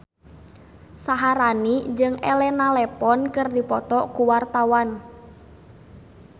Syaharani jeung Elena Levon keur dipoto ku wartawan